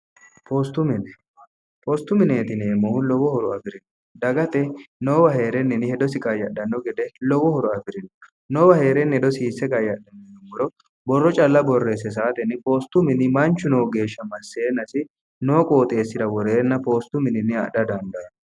poostu mineetini eemmohu lowohoro afi'rino dagate noowa hee'renninni hedosi qayyadhanno gede lowohoro afi'rino noowa hee'renni hedosiisse qayyadhanninummoro borro calla borreesse saatenni poostu mini manchu noo geeshsha masseenasi noo qooxeessira woreenna poostu mininni adha dandaanno